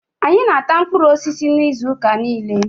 Anyị na-ata mkpụrụ osisi n'izuuka niile.